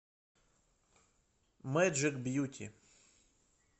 мэджик бьюти